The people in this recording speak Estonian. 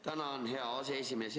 Tänan, hea aseesimees!